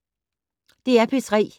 DR P3